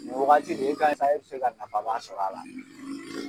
Ni wagati de e bɛ se ka nafa ba sɔrɔ a la.